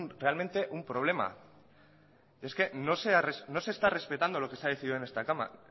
realmente un problema es que no se está respetando lo que se ha decidido